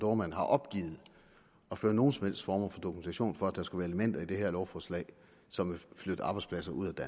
dohrmann har opgivet at føre nogen som helst form for dokumentation for at der skulle være elementer i det her lovforslag som vil flytte arbejdspladser ud af